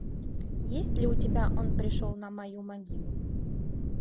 есть ли у тебя он пришел на мою могилу